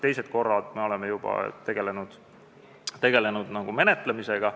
Teistel kordadel me oleme juba tegelenud menetlemisega.